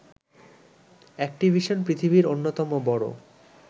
Activision পৃথিবীর অন্যতম বড়